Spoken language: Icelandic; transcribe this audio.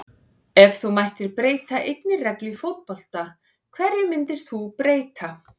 Ef þú mættir breyta einni reglu í fótbolta, hverju myndir þú breyta??